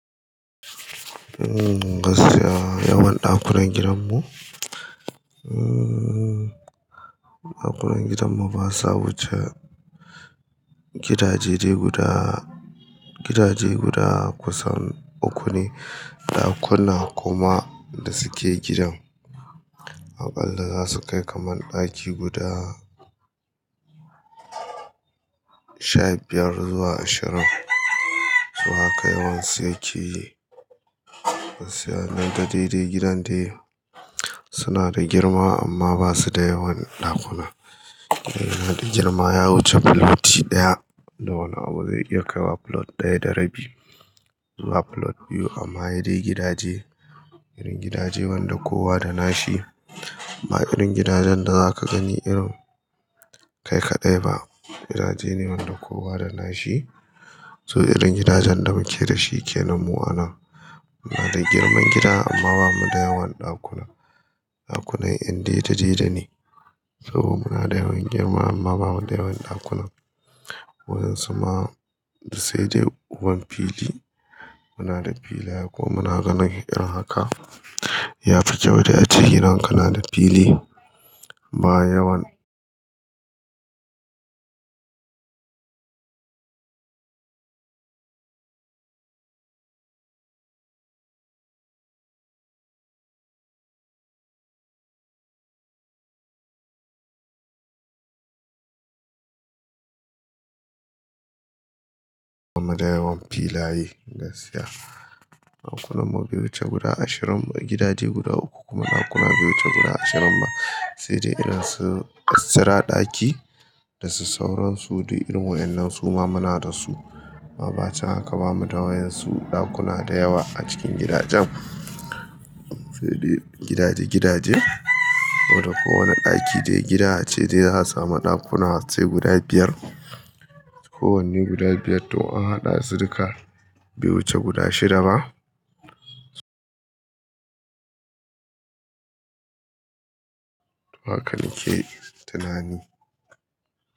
Gaskiya yawan ɗakunan gidan mu, ɗakunan gidan mu ba sa wuce gidaje guda kusan uku ne, ɗakuna kuma da suke gidan aƙalla za su kai kamar ɗaki guda sha biyar zuwa ashirin. Su haka yawan su yake. Gaskiya dai gidan suna da girma amma ba su da yawan ɗakuna. Saboda girma ya wuce filoti ɗaya da wani abu zai iya kai wa filot ɗaya da rabi zuwa filot biyu amma ya sai dai gidaje. Irin gidaje wanda kowa da na shi. Ba irin gidajen da za ka gani irin kai kaɗai ba, gidaje ne wanda kowa da nashi. So irin gidajen da muke da shi kenan mu a anan. Muna da girman gida amma ba mu da yawan ɗakuna. Ɗakunan ƴan daidai daidai ne saboda muna da yawan girma amma ba mu da yawan ɗakuna. Wadansu ma sai dai uwar fili. Muna da filaye kuma muna ganin irin haka ya fi kyau da a ce gidan ka na da fili ba yawan. Ba mu da yawan filaye gaskiya. Ɗakunan mu bai wuce guda ashirin ba, gidaje guda uku kuma ɗakuna bai wuce guda ashirin ba. Sai dai idan su extra ɗaki da su sauransu dai irin mu wannan su ma muna da su. Amma bayan haka ba mu da waɗan su ɗakuna da yawa a cikin gidajen. Sai dai gidaje gidaje, kowane ɗaki dai gida ce dai za a sami ɗakuna sai guda biyar. Kowanne guda biyar to an haɗa su duka bai wuce guda shida ba. Su haka nake tunani.